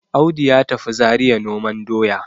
Audu ya tafi Zariya noman doya